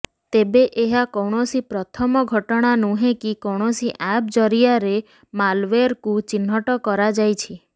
ତେବେ ଏହା କୌଣସି ପ୍ରଥମ ଘଟଣା ନୁହେଁ କି କୌଣସି ଆପ୍ ଜରିଆରେ ମାଲୱେରକୁ ଚିହ୍ନଟ କରାଯାଇଛି